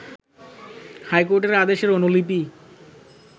হাইকোর্টের আদেশের অনুলিপি